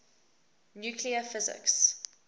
nuclear physics